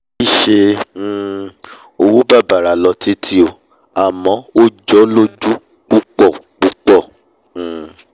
kìí ṣe um owó bàbàrà lọ títí o àmọ́ ó jọ̀ọ́ lójú púpọ̀ púpọ̀ um